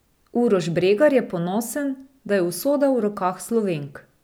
Uroš Bregar je ponosen, da je usoda v rokah Slovenk.